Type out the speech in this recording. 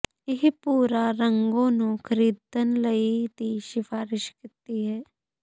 ਇਹ ਪੂਰਾ ਰੰਗੋ ਨੂੰ ਖਰੀਦਣ ਲਈ ਦੀ ਸਿਫਾਰਸ਼ ਕੀਤੀ ਹੈ